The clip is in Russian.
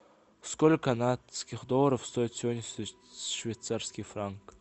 сколько канадских долларов стоит сегодня швейцарский франк